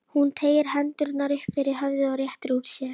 Hún teygir hendurnar upp fyrir höfuðið og réttir úr sér.